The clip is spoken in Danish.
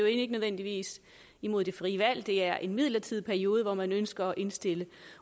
ikke nødvendigvis imod det frie valg for det er en midlertidig periode hvor man ønsker at indstille